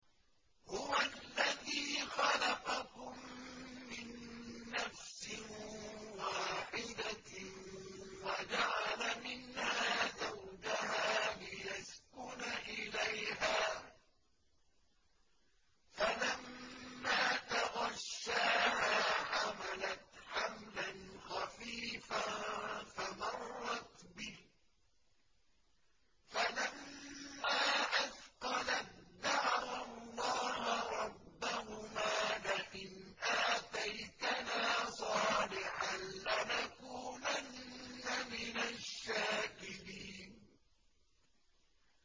۞ هُوَ الَّذِي خَلَقَكُم مِّن نَّفْسٍ وَاحِدَةٍ وَجَعَلَ مِنْهَا زَوْجَهَا لِيَسْكُنَ إِلَيْهَا ۖ فَلَمَّا تَغَشَّاهَا حَمَلَتْ حَمْلًا خَفِيفًا فَمَرَّتْ بِهِ ۖ فَلَمَّا أَثْقَلَت دَّعَوَا اللَّهَ رَبَّهُمَا لَئِنْ آتَيْتَنَا صَالِحًا لَّنَكُونَنَّ مِنَ الشَّاكِرِينَ